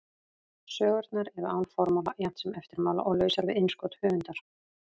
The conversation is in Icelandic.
Sögurnar eru án formála jafnt sem eftirmála og lausar við innskot höfundar.